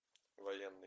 военный